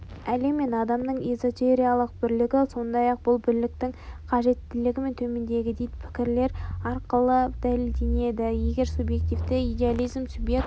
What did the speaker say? әлем мен адамның эзотериялық бірлігі сондай-ақ бұл бірліктің қажеттігі де төмендегідей пікірлер арқылы дәлелденеді егер субъективтік идеализм субъект